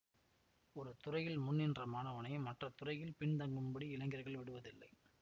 ஒரு துறையில் முன்நின்ற மாணவனை மற்ற துறையில் பின்தங்கும்படி இளைஞர்கள் விடுவதில்லை